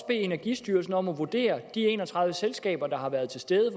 bede energistyrelsen om at vurdere hvor mange af de en og tredive selskaber der har været til stede